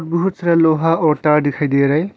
बहुत सारा लोहा और तार दिखाई दे रहा है।